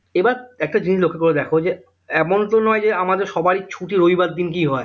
এবার একটা জিনিস লক্ষ্য করে দেখো যে এমন তো নয় যে আমাদের সবারই ছুটি রবিবার দিনকেই হয়